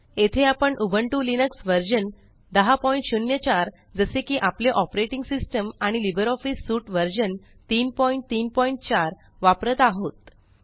येथे आपण Ubuntu Linux version 1004जसे कि आपले ऑपरेटींग सिस्टम आणि लिब्रिऑफिस सूट व्हर्सन 334वापरत आहोत